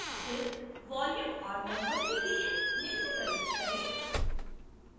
फिर volume और number के लिए निम्न प्रविष्ट करें